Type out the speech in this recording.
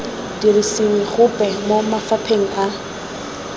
dirisiwe gope mo mafapheng a